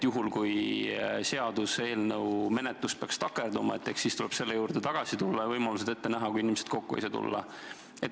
Juhul kui seaduseelnõu menetlus peaks takerduma, eks siis tuleb selle juurde tagasi tulla ja ette näha võimalused, mis rakenduvad siis, kui inimesed kokku ei saa tulla.